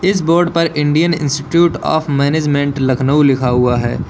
इस बोर्ड पर Indian Institute of Management Lucknow लिखा हुआ है।